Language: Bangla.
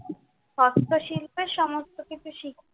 হস্ত শিল্পের সমস্ত কিছু শিখুক।